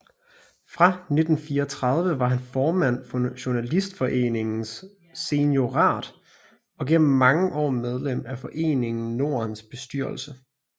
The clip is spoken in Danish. Fra 1934 var han formand for Journalistforeningens seniorat og gennem mange år medlem af Foreningen Nordens bestyrelse